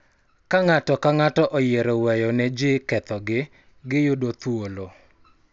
Ka ng�ato ka ng�ato oyiero weyo ne ji kethogi, giyudo thuolo